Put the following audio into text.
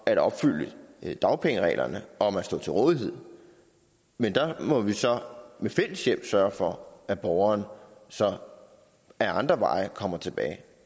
at opfylde dagpengereglerne om at stå til rådighed men der må vi så ved fælles hjælp sørge for at borgeren så ad andre veje kommer tilbage